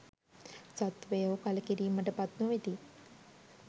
සත්වයෝ කලකිරීමට පත් නොවෙති.